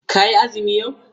Ka yi azumi yau?